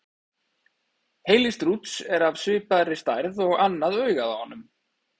Heili strúts er af svipaði stærð og annað augað á honum.